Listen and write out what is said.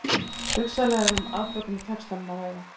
Hugsanlega er um afbökun í textanum að ræða.